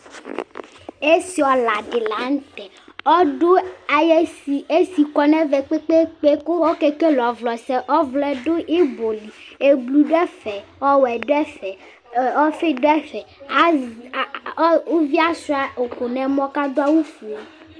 ɛsiolɑdilɑntȩ ɔdu ɑyɛsikuɛ nɛtukpɛkpɛ ku ɔkɛkɛlɛ ɔvlosɛ ɔvlodu ibɔli blu duɛfɛ ɔhlon duɛfɛ ɔfiduɛfɛ uviɛ ɑchuɑ ukunɛmɔ kɑdiɑwuvɛ